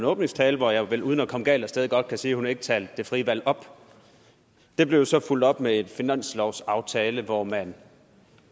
åbningstale hvor jeg vel uden at komme galt af sted godt kan sige at hun ikke talte det frie valg op det blev så fulgt op med et finanslovsforslag hvor man